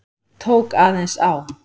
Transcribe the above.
Tók aðeins á.